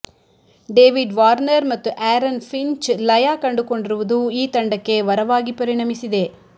David Warner ಮತ್ತು Aaron Finch ಲಯ ಕಂಡುಕೊಂಡಿರುವುದು ಈ ತಂಡಕ್ಕೆ ವರವಾಗಿ ಪರಿಣಮಿಸಿದೆ